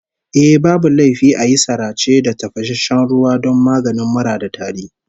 Eh, babu laifi a yi sarace da tafasasshen ruwa don maganin mura da tari